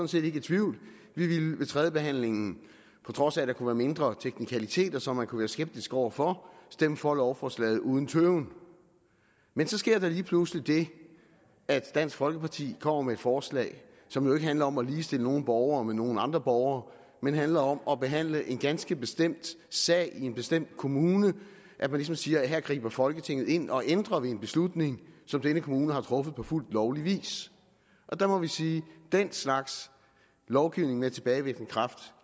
set ikke i tvivl vi ville ved tredjebehandlingen på trods af at der kunne være mindre teknikaliteter som man kunne være skeptisk over for stemme for lovforslaget uden tøven men så sker der lige pludselig det at dansk folkeparti kommer med et forslag som jo ikke handler om at ligestille nogle borgere med nogle andre borgere men handler om at behandle en ganske bestemt sag i en bestemt kommune at man ligesom siger at her griber folketinget ind og ændrer ved en beslutning som denne kommune har truffet på fuldt lovlig vis og der må vi sige at den slags lovgivning med tilbagevirkende kraft